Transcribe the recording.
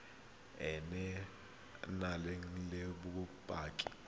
e e nang le bokgoni